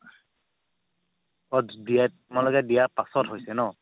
অ' তোমালোকে দিয়া পাছত হৈছে ন